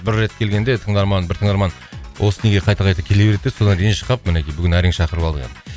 бір рет келгенде тыңдарман бір тыңдарман осы неге қайта қайта келе береді деп содан ренжіп қалып мінекей бүгін әрең шақырып алдық енді